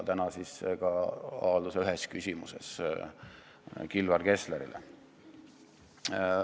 Täna avaldus see ühes küsimuses Kilvar Kesslerile.